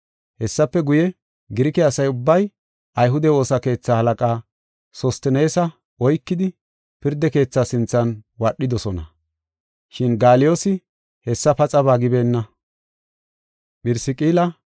Hessafe guye, Girike asa ubbay ayhude woosa keetha halaqaa Sosteneesa oykidi pirda keethaa sinthan wadhidosona. Shin Gaaliyoosi hessa paxaba gibeenna.